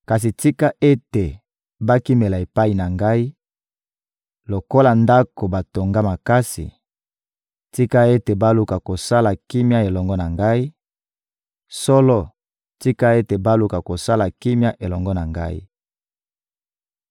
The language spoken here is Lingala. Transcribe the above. Kasi tika ete bakimela epai na Ngai lokola ndako batonga makasi, tika ete baluka kosala kimia elongo na Ngai; solo, tika ete baluka kosala kimia elongo na Ngai!»